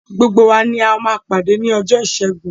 Gbogbo wa ni a máa pàdé ni ọjọ́ ìṣẹ́gun.